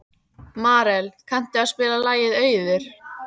Marel, kanntu að spila lagið „Auður“?